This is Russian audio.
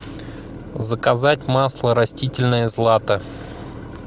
заказать масло растительное злато